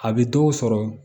A bɛ dɔw sɔrɔ